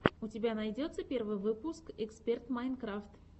у тебя найдется первый выпуск эксперт майнкрафт